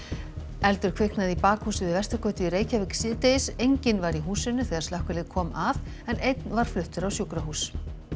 eldur kviknaði í bakhúsi við Vesturgötu í Reykjavík síðdegis enginn var í húsinu þegar slökkvilið kom að en einn var fluttur á sjúkrahús